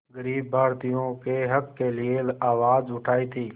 ग़रीब भारतीयों के हक़ के लिए आवाज़ उठाई थी